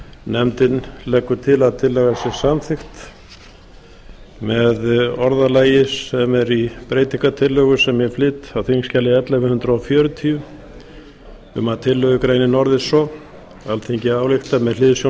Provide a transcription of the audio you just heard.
nefndin leggur til að tillagan sé samþykkt með orðalagi sem er í breytingartillögu sem ég flyt á þingskjali ellefu hundruð fjörutíu um að tillögugreinin orðist svo alþingi ályktar með hliðsjón